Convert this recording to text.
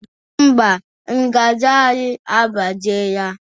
Ḿbà, ngaji anyị agbajiela.